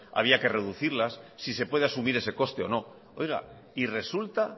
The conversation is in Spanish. había que reducirlas si se puede asumir ese coste o no y resulta